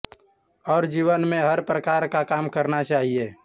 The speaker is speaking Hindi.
और जीवन में हर प्रकार का काम करना चाहिए